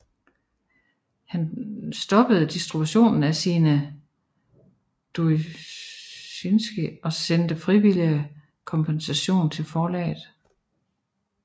Han stoppede distributionen af sine doujinshi og sendte frivilligt kompensation til forlaget